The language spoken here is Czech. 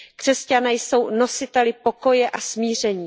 Křesťané jsou nositeli pokoje a smíření.